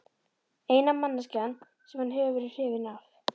Eina manneskjan sem hann hefur verið hrifinn af.